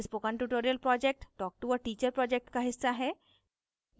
spoken tutorial project talktoa teacher project का हिस्सा है